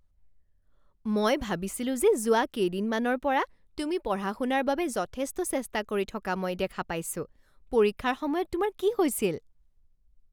মই ভাবিছিলো যে যোৱা কেইদিনমানৰ পৰা তুমি পঢ়া শুনাৰ বাবে যথেষ্ট চেষ্টা কৰি থকা মই দেখা পাইছোঁ। পৰীক্ষাৰ সময়ত তোমাৰ কি হৈছিল?